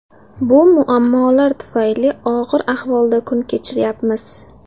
Bu muammolar tufayli og‘ir ahvolda kun kechiryapmiz.